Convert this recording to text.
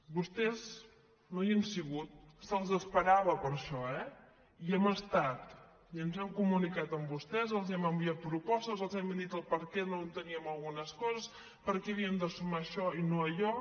vostès no hi han sigut se’ls esperava per això eh hi hem estat i ens hem comunicat amb vostès i els hem enviat propostes i els hem dit per què no enteníem algunes coses per què havíem de sumar això i no allò